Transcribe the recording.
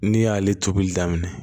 Ne y'ale tobili daminɛ